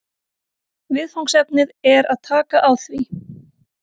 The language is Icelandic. Viðfangsefnið er að taka á því